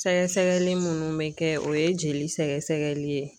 Sɛgɛsɛgɛli munnu bɛ kɛ o ye jeli sɛgɛsɛgɛli ye.